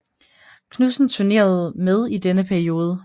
Knudsen turnerede med i denne periode